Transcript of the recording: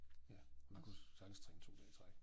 Ja vi kunne sagtens træne 2 dage i træk